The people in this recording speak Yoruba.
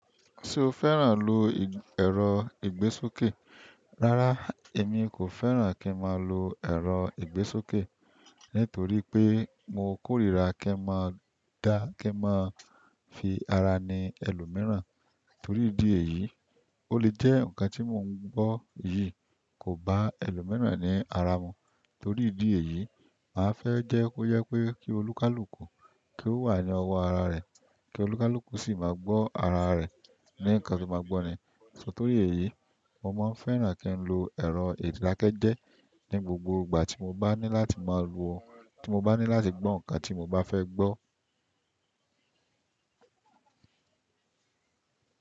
Ṣo fẹ́ràn lo ẹ̀rọ ìgbésókè? Rárá, èmi kò fẹ́ràn kí n máa lo ẹ̀rọ ìgbésókè. Nítorí pé mo kórìíra kí n máa dá, kí n máa fi ara ni ẹlòmíràn. Torí ìdí èyí, ó lè jẹ́ nǹkan tí mo ń gbọ́ yìí kò bá ẹlòmíràn ní ara mu. Torí ìdí èyí, màá fẹ́ jẹ́ kó jé pé kí olúkàlùkù kí ó wà ní ọwọ́ ara rẹ̀. Kí olúkàlùkù sì máa gbọ́ ara rẹ̀ ní ǹkan tó máa gbọ́ni. So torí èyí, mo máa ń fẹ́ràn kí n lo ẹ̀rọ ìdákẹ́jẹ́ ní gbogbo ìgbà tí mo bá ní láti máa wọ̀, tí mo bá ní láti gbọ́ ǹkan tí mo bá fẹ́ gbọ́.